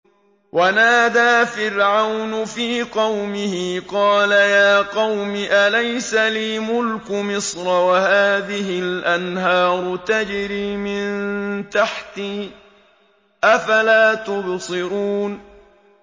وَنَادَىٰ فِرْعَوْنُ فِي قَوْمِهِ قَالَ يَا قَوْمِ أَلَيْسَ لِي مُلْكُ مِصْرَ وَهَٰذِهِ الْأَنْهَارُ تَجْرِي مِن تَحْتِي ۖ أَفَلَا تُبْصِرُونَ